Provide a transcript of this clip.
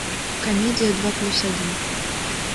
комедия два плюс один